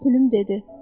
Pülüm dedi: